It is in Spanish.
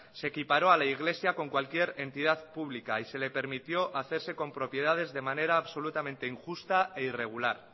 se equiparó a la iglesia con cualquier entidad pública y se le permitió hacerse con propiedades de manera absolutamente injusta e irregular